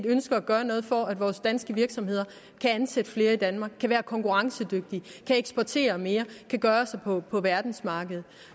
ønsker at gøre noget for at vore danske virksomheder kan ansætte flere i danmark kan være konkurrencedygtige at de kan eksportere mere at de kan gøre sig på på verdensmarkedet